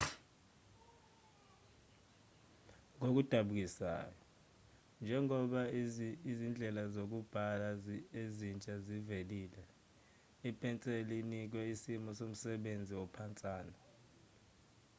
ngokudabukisayo njengoba izindlela zokubhala ezintsha zivelile ipenseli inikwe isimo nomsebenzi ophansana